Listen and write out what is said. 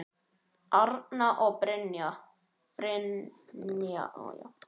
Arna og Brynja.